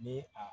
Ni a